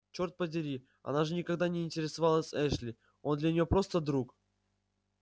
черт подери она же никогда не интересовалась эшли он для нее просто друг